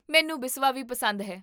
ਮੈਨੂੰ ਬਿਸਵਾ ਵੀ ਪਸੰਦ ਹੈ